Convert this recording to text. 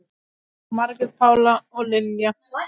Margrét Pála og Lilja.